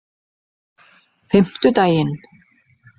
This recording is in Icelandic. fimmtudaginn